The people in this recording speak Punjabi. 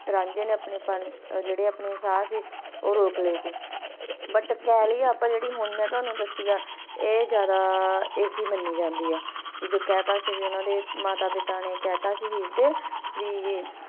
ਰਾਂਝੇ ਨੇ ਆਪਣੇ ਪੰਡ ਜ਼ੀਰੇ ਸਾਹ ਸੀ ਉਹ ਰੋਕ ਲੀਯੇ ਸੀ but ਕਹਾਣੀ ਜ਼ਿਆਦਾ ਜੈਰੀ ਮੇਂ ਤੁਵਾਂਨੂੰ ਹੁਣ ਦੱਸੀ ਹੈ ਓ ਹੈ ਜਾਂਦਾ ਮੰਨੀ ਜਾਂਦੀ ਹੈ ਕ ਜੋ ਕਹਿ ਦਿੱਤਾ ਸੀ ਮਾਤਾ ਪਿਤਾ ਨੇ ਹੀਰ ਦੇ